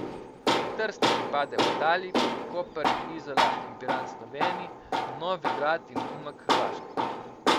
Trst je pripadel Italiji, Koper, Izola in Piran Sloveniji, Novigrad in Umag Hrvaški.